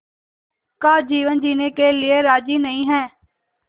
का जीवन जीने के लिए राज़ी नहीं हैं